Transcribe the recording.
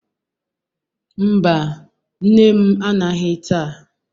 Mba, nne m anaghị taa.